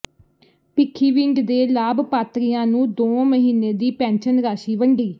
ਭਿੱਖੀਵਿੰਡ ਦੇ ਲਾਭਪਾਤਰੀਆਂ ਨੂੰ ਦੋਂ ਮਹੀਨੇ ਦੀ ਪੈਨਸ਼ਨ ਰਾਸ਼ੀ ਵੰਡੀ